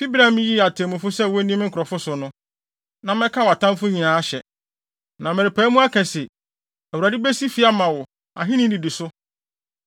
fi bere a miyii atemmufo sɛ wonni me nkurɔfo so no. Na mɛka wʼatamfo nyinaa ahyɛ. “ ‘Na merepae mu aka se, Awurade besi fi ama wo, ahenni nnidiso.